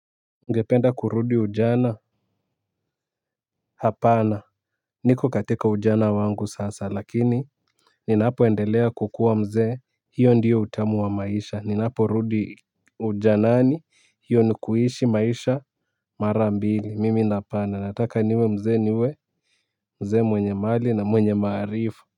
Ungependa kurudi ujana hapana. Niko katika ujana wangu sasa lakini ninapo endelea kukua mzee hiyo ndiyo utamu wa maisha ninapo rudi ujanani hiyo ni kuishi maisha mara mbili mimi hapana nataka niwe mzee niwe mzee mwenye mali na mwenye maarifa.